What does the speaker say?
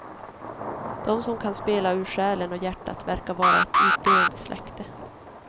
De som kan spela ur själen och hjärtat verkar vara ett utdöende släkte.